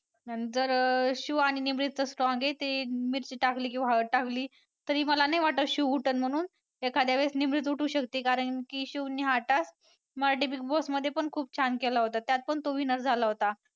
नंतर शिव आणि निमरीत तर strong आहे. ते मिरची टाकली किंवा हळद टाकली तरी मला नाही वाटत शिव उठल म्हणून एखाद्यावेळेस निमरीत उठू शकते कारण की शिवने हा task मराठी Big Boss मध्ये पण खूप छान केला होता त्यात पण तो winner झाला होता.